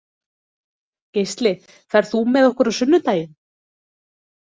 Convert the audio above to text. Geisli, ferð þú með okkur á sunnudaginn?